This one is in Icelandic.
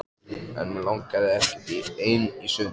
En mig langaði ekkert ein í sund.